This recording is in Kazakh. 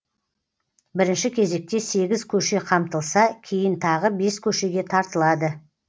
бірінші кезекте сегіз көше қамтылса кейін тағы бес көшеге тартылады